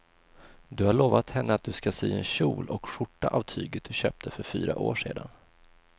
Du har lovat henne att du ska sy en kjol och skjorta av tyget du köpte för fyra år sedan.